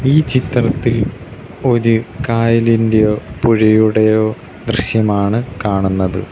ഈ ചിത്രത്തിൽ ഒര് കായലിന്റെയോ പുഴയുടെയോ ദൃശ്യമാണ് കാണുന്നത്.